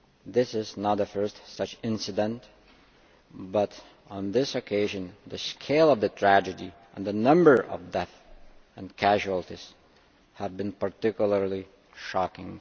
This is not the first such incident but on this occasion the scale of the tragedy and the number of deaths and casualties have been particularly shocking.